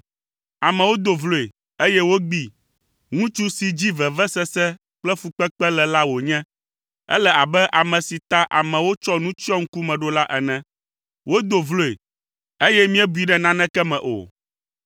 Amewo do vloe, eye wogbee. Ŋutsu si dzi vevesese kple fukpekpe le la wònye. Ele abe ame si ta amewo tsɔ nu tsyɔ ŋkume ɖo la ene. Wodo vloe, eye míebui ɖe naneke me o.